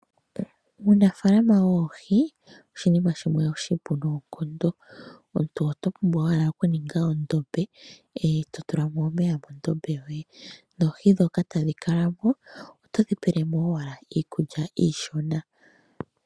Uunafaalama woohi oshinima shimwe oshipu noonkondo. Oto pumbwa owala okuninga edhiya, eto tula mo omeya medhiya lyoye noohi ndhoka tadhi kala mo, eto tula mo owala iikulya iishona.